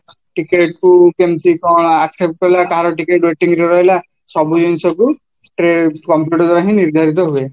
ticket କୁ କୋଉଠି କେମିତି କ'ଣ accept କଲା କାହାର ticket waiting ରେ ରହିଲା ସବୁ ଜିନିଷକୁ computer ଦ୍ଵାରାହିଁ ନିର୍ଧାରିତ ହୁଏ